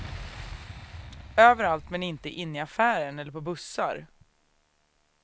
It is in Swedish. Överallt men inte inne i affärer eller på bussar.